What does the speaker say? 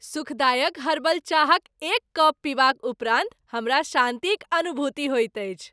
सुखदायक हर्बल चाहक एक कप पीबाक उपरान्त हमरा शान्तिक अनुभूति होएत अछि।